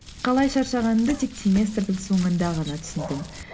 қалай шаршағанымды тек семестрдің соңында ғана түсіндім